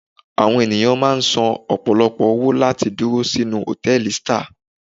Àwọn ènìyàn máà ń san ọ̀pọ̀lọpọ̀ owó láti dúró sínú hòtẹ́ẹ̀lì star.